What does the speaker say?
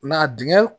Nka dingɛn